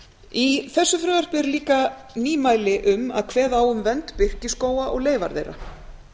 í þessu frumvarpi eru líka nýmæli um að kveða á um vernd birkiskóga og leifa þeirra